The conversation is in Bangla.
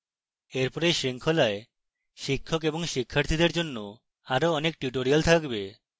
এরপর এই শৃঙ্খলায় শিক্ষক এবং শিক্ষার্থীদের জন্য আরো অনেক tutorials থাকবে